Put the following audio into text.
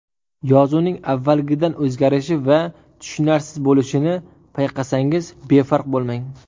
Yozuvning avvalgidan o‘zgarishi va tushunarsiz bo‘lishini payqasangiz, befarq bo‘lmang.